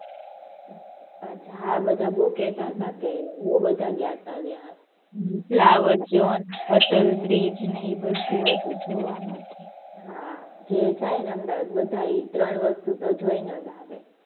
અચ્છા હાં બધા બહુ કેહતા હતા કે બહુ બધા ગયા હતા ત્યાં. હમ્મ flower show ને અટલ બ્રિજ એ બધુ હતું જોવા માટે. હાં જે જાય ને અમદાવાદ તે ત્રણ વસ્તુ જોઈ ને જ આવે.